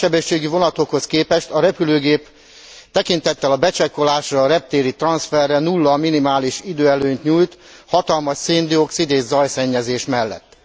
A nagy sebességű vonatokhoz képest a repülőgép tekintettel a becsekkolásra, a reptéri transzferre nulla minimális időelőnyt nyújt hatalmas szén dioxid és zajszennyezés mellett.